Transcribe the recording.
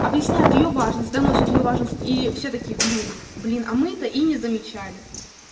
объясняют её важность доносят её важность и все такие блин блин а мы то и не замечали